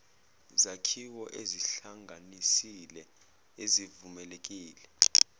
zakhiwo ezihlanganisile ezivumelekile